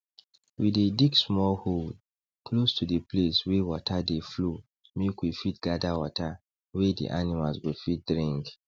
we dey dig small hole close to d place wey water dey flow make we fit gather water wey d animals go fit drink